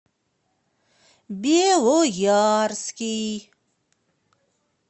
белоярский